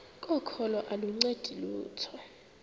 kokholo aluncedi lutho